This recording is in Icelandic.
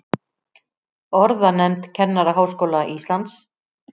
Orðanefnd Kennaraháskóla Íslands.